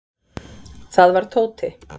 Það var Tóti.